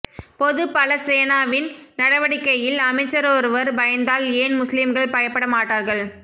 பொது பல சேனவின் நடவடிக்கையில் அமைச்சரொருவர் பயந்தால் ஏன் முஸ்லிம்கள் பயப்படமாட்டார்கள்